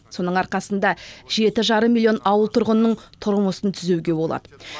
соның арқасында жеті жарым миллион ауыл тұрғынының тұрмысын түзеуге болады